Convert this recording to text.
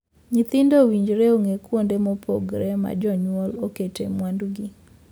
Nyithindo owinjore ong'ee kuonde mopogore ma jonyuol okete mwandugi.